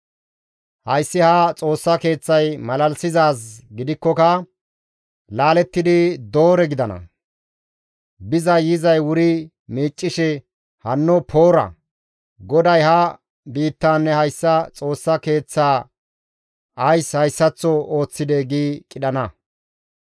Hayssi ha Xoossa Keeththay malalisizaaz gidikkoka laalettidi doore gidana; bizay yizay wuri miiccishe, ‹Hanno Poora! GODAY ha biittaanne hayssa Xoossa Keeththaa ays hayssaththo ooththidee?› gi qidhana.